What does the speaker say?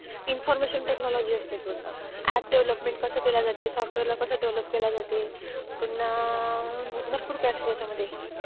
Information technology असतं पूर्ण. App development कसं केलं जातं? सॉफ्टवेअरला कसं डेव्हलप केलं जातं? पुन्हा भरपूर काय असतं त्याच्यामध्ये.